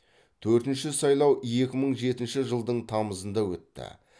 төртінші сайлау екі мың жетінші жылдың тамызында өтті